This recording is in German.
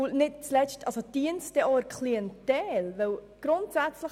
Nicht zuletzt stellt sich die Frage, ob dies auch der Klientel dienen würde.